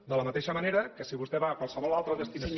de la mateixa manera que si vostè va a qualsevol altra destinació